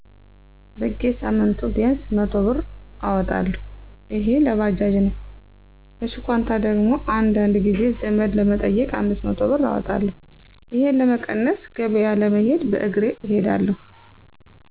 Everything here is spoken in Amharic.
በጌሳምንቱ ቢያንስ 100ብር እወጣለሁ እሄ ለባጃጅ ነው ለሽኳንታ ደግሞ አንዳንድ ጊዜ ዘመድ ለመጠየቅ 500 ብር አወጣለሁ። እሄን ለመቀነስ ገበያ ለመሄድ በእሬ እሄዳለሁ።